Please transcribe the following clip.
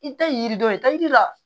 I tɛ yiri dɔn i ta yiri la